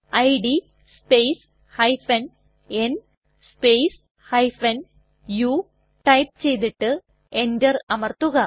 id space n space u type ചെയ്തിട്ട് enter അമർത്തുക